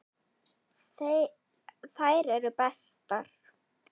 Þær eru bestar.